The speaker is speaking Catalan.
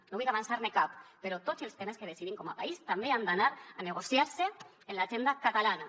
no vull avançar ne cap però tots els temes que decidim com a país també han d’anar a negociar se en l’agenda catalana